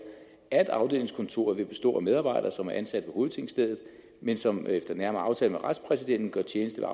at afdelingskontoret vil bestå af medarbejdere som er ansat ved hovedtingstedet men som efter nærmere aftale med retspræsidenten gør tjeneste